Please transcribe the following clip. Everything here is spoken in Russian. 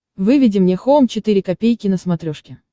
выведи мне хоум четыре ка на смотрешке